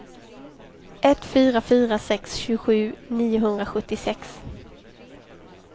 ett fyra fyra sex tjugosju niohundrasjuttiosex